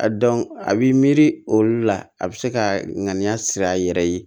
A dɔn a b'i miiri olu la a bɛ se ka ŋaniya siri a yɛrɛ ye